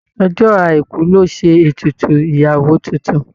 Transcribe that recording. Ọjọ́ Àìkú lọ́ ṣe ètùtù ìyàwó tuntun.